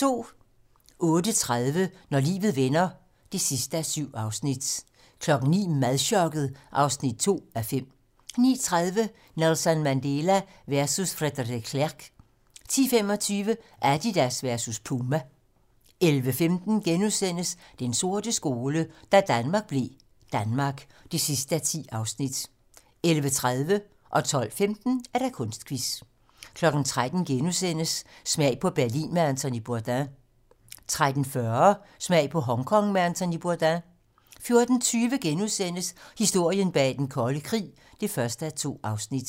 08:30: Når livet vender (7:7) 09:00: Madchokket (2:5) 09:30: Nelson Mandela versus Frederik de Klerk 10:25: Adidas versus Puma 11:15: Den sorte skole: Da Danmark blev Danmark (10:10)* 11:30: Kunstquiz * 12:15: Kunstquiz * 13:00: Smag på Berlin med Anthony Bourdain * 13:40: Smag på Hongkong med Anthony Bourdain 14:20: Historien bag den kolde krig (1:2)*